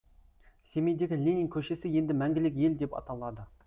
семейдегі ленин көшесі енді мәңгілік ел деп аталады